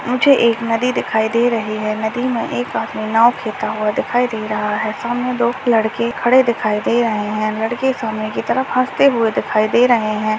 मुझे एक नदी दिखाई दे रही है नदी में एक आदमी नाँव खेता हुआ दिखाई दे रहा है सामने दो लड़के खड़े दिखाई दे रहे हैं लड़के सामने की तरफ हंसते हुए दिखाई दे रहे हैं।